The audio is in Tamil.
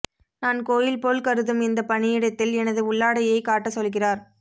நான் கோயில் போல் கருதும் இந்த பணியிடத்தில் எனது உள்ளாடையை காட்டச் சொல்கிறார்